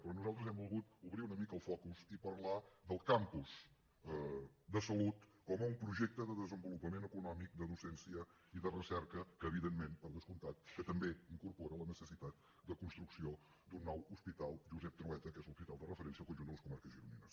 però nosaltres hem volgut obrir una mica el focus i parlar del campus de salut com un projecte de desenvolupament econòmic de docència i de recerca que evidentment per descomptat també incorpora la necessitat de construcció d’un nou hospital josep trueta que és l’hospital de referència del conjunt de les comarques gironines